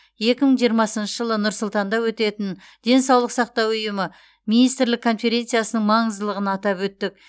екі мың жиырмасыншы жылы нұр сұлтанда өтетін денсаулық сақтау ұйымы министрлік конференциясының маңыздылығын атап өттік